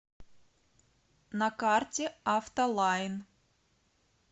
на карте автолайн